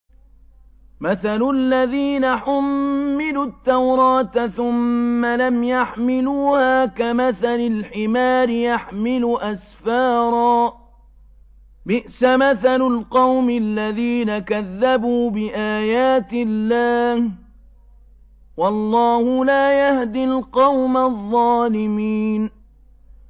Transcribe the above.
مَثَلُ الَّذِينَ حُمِّلُوا التَّوْرَاةَ ثُمَّ لَمْ يَحْمِلُوهَا كَمَثَلِ الْحِمَارِ يَحْمِلُ أَسْفَارًا ۚ بِئْسَ مَثَلُ الْقَوْمِ الَّذِينَ كَذَّبُوا بِآيَاتِ اللَّهِ ۚ وَاللَّهُ لَا يَهْدِي الْقَوْمَ الظَّالِمِينَ